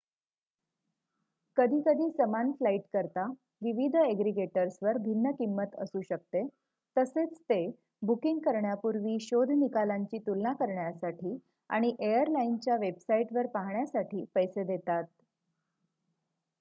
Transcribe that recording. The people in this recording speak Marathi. कधीकधी समान फ्लाईटकरिता विविध एग्रीगेटर्सवर भिन्न किंमत असू शकते तसेच ते बुकिंग करण्यापूर्वी शोध निकालांची तुलना करण्यासाठी आणि एअरलाइनच्या वेबसाईटवर पाहण्यासाठी पैसे देतात